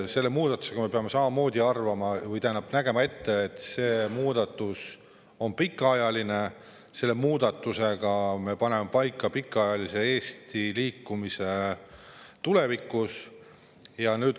Selle muudatuse puhul me peame samamoodi nägema ette, et see muudatus on pikaajaline, selle muudatusega me paneme pikaajaliselt paika Eesti liikumise tulevikus.